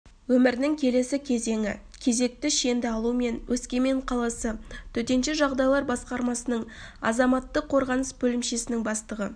өмірінің келесі кезеңі кезекті шенді алу мен өскемен қаласы төтенше жағдайлар басқармасының азаматтық қорғаныс бөлімшесінің бастығы